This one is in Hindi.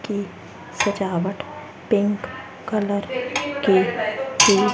कि सजावट पिंक कलर की